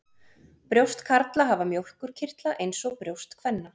Brjóst karla hafa mjólkurkirtla eins og brjóst kvenna.